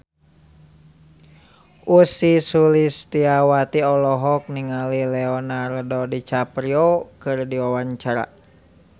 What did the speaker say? Ussy Sulistyawati olohok ningali Leonardo DiCaprio keur diwawancara